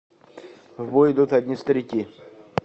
в бой идут одни старики